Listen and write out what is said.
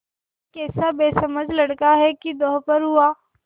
यह कैसा बेसमझ लड़का है कि दोपहर हुआ